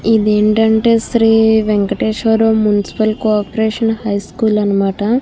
ఇది ఏంటంటే Shri Venkateswara municipal corporation high school అనమాట.